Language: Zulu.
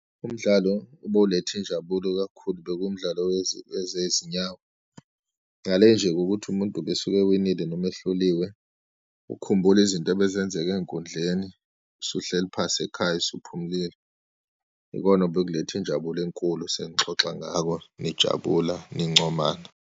Umdlalo obowuletha injabulo kakhulu, bekuwumdlalo wezi, wezezinyawo, ngale nje ngokuthi umuntu ubesuke ewinile noma ehluliwe, ukukhumbula izinto ebezenzeka eyinkundleni usuhleli phasi ekhaya, usuphumlile, ikona obekuletha injabulo enkulu, senixoxa ngako, nijabula, nincomana.